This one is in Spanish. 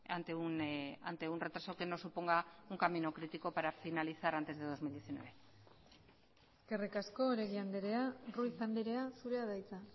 ante un retraso que nos suponga un camino crítico para finalizar antes de dos mil diecinueve eskerrik asko oregi andrea ruiz andrea zurea da hitza